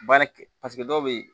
Baara kɛ paseke dɔw bɛ